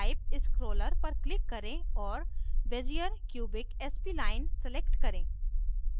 type scroller पर click करें और bezier cubic spline select करें